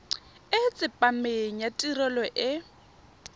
e tsepameng ya tirelo e